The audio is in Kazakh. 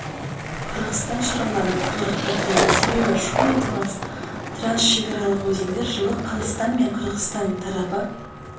қырғызстан шаруаларын тығырыққа тірейді себебі шу мен талас трансшекаралық өзендер жылы қазақстан мен қырғызстан тарапы